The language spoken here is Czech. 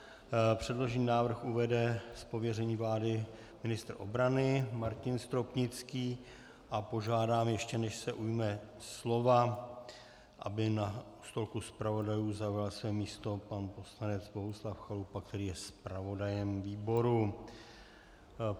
Předložený návrh uvede z pověření vlády ministr obrany Martin Stropnický a požádám, ještě než se ujme slova, aby u stolku zpravodajů zaujal své místo pan poslanec Bohuslav Chalupa, který je zpravodajem výboru.